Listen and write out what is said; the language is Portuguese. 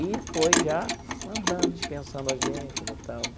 E foi já mandando, dispensando a gente tal tal tal.